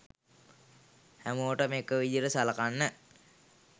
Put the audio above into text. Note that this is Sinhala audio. හැමෝටම එක විදියට සලකන්න.